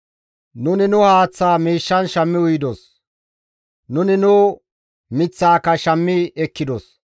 Nuni nu haaththa miishshan shammi uyidos; nuni nu miththaaka shammi ekkidos.